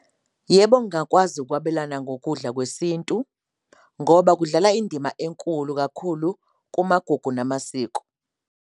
Yebo, ngingakwazi ukwabelana ngokudla kwesintu ngoba kudlala indima enkulu kakhulu kumagugu namasiko.